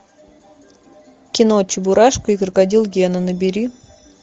кино чебурашка и крокодил гена набери